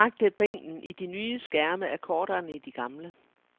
Det er korrekt, at bænken i de nye skærme er kortere end i de gamle.